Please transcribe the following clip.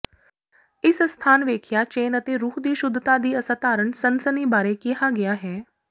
ਇਸ ਅਸਥਾਨ ਵੇਖਿਆ ਚੈਨ ਅਤੇ ਰੂਹ ਦੀ ਸ਼ੁੱਧਤਾ ਦੀ ਅਸਾਧਾਰਨ ਸਨਸਨੀ ਬਾਰੇ ਕਿਹਾ ਗਿਆ ਹੈ